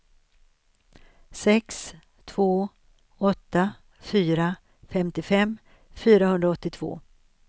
sex två åtta fyra femtiofem fyrahundraåttiotvå